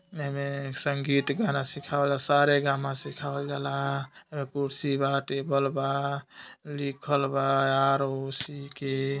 एमे संगीत गाना सिखाबला सारे गामा सिखावल जाला एमए कुर्सी बा टेबल बा लिखल बा आर ओ सी के --